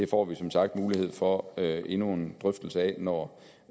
får vi som sagt mulighed for endnu en drøftelse af når